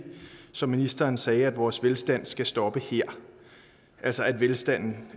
som ministeren sagde at vores velstand skal stoppe her altså at velstanden